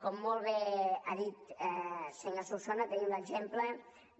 com molt bé ha dit el senyor solsona tenim l’exemple